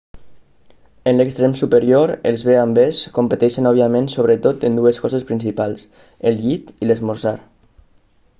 en l'extrem superior els b&bs competeixen òbviament sobretot en dues coses principals el llit i l'esmorzar